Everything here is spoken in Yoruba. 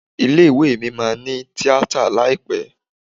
Ilé ìwé mi máa ní Tíátà láìpẹ́.